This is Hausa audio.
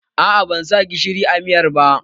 Aa ban sa gishiri a miyar ba